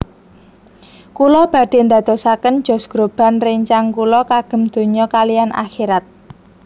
Kula badhe ndadosaken Josh Groban rencang kula kagem donya kaliyan akhirat